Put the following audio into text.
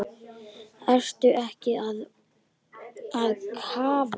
Ertu ekki að kafna?